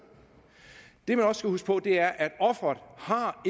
det man også skal huske på er at offeret